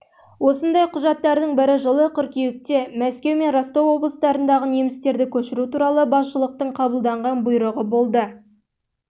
осындай құжаттардың бірі жылы қыркүйекте мәскеу мен ростов облыстарындағы немістерді көшіру туралы басшылықтың қабылдаған бұйрығы болды